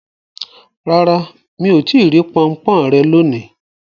Rara, mi o ti ri ponpon re loni